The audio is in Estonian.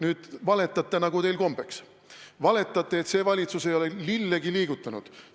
Te valetate, nagu teil kombeks, te valetate, et see valitsus ei ole lillegi liigutanud.